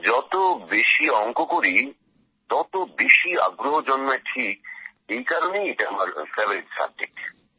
যত বেশি অংক করি তত বেশী আগ্রহ জন্মায় ঠিক এই কারণেই এটা আমার ফেভারিট সাবজেক্ট